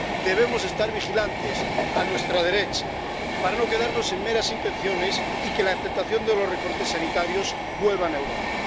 Debemos estar vigilantes a nuestra derecha para no quedarnos en meras intenciones y que la tentación de los recortes sanitarios vuelva a Europa.